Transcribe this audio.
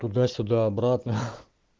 туда сюда обратно